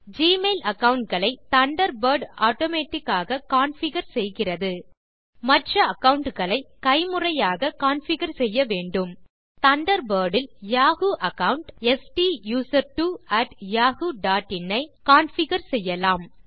Gmail account களை Thunderbird automatic ஆக configure செய்கிறது மற்ற அகாவுண்ட் களை கைமுறையாக கான்ஃபிகர் செய்ய வேண்டும் தண்டர்பர்ட் இல் Yahoo account STUSERTWOyahoo dot in ஐ கான்ஃபிகர் செய்யலாம்